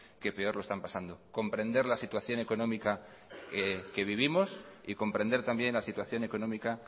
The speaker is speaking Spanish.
que peor lo están pasando comprender la situación económica que vivimos y comprender también la situación económica